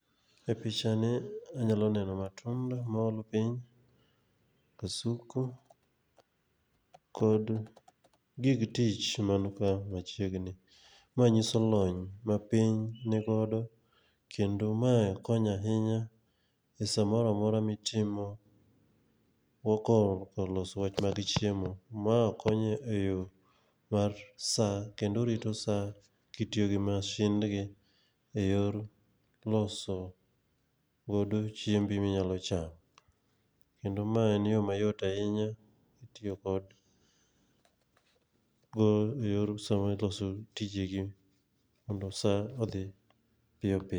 E picha ni, anyalo neno matunda mool piny, kasuku kod gig tich man ka machiegni. Ma nyiso lony ma piny ni godo, kendo mae konyo ahinya e samoro amora mitimo loso wach mar chiemo. Ma konyo e yo mar sa, kendo rito sa kitiyo gi mashindgi e yor loso godo chiembi minyalo chamo, kendo ma en yo mayot ahinya kitiyo kod yor somo e loso tijegi mondo sa odhi piyo piyo.